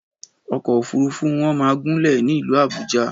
Ọkọ̀ òfúrufú wọn máa gúnlè ní ìlú Àbújá.